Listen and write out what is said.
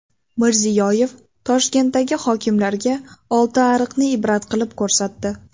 Mirziyoyev Toshkentdagi hokimlarga Oltiariqni ibrat qilib ko‘rsatdi.